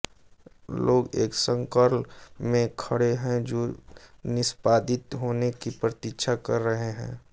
लोग एक सर्कल में खड़े हैं जो निष्पादित होने की प्रतीक्षा कर रहे हैं